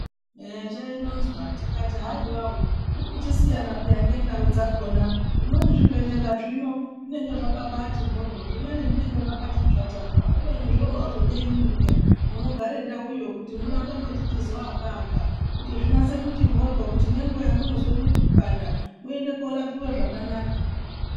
Eyaa zvaironzwa tikati haiwawo zvinochisiyana peya ngendawu dzakona kumweni zvibhedhlera zvino zvinenge zvakabaiti dyodyo zvimweni zvinenge zvakati tsvatarara kubeni zvinozodawo imwimwi peya munogarewo ndawu iyoyi kuti murambe muchizoto waka waka ngekuti zvinyatso kuchiti mbodyo kuti nenguva yamunozozwe mwiri kupanda muende korapiwe zvakanaka.